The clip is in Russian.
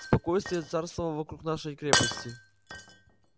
спокойствие царствовало вокруг нашей крепости